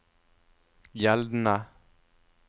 gjeldende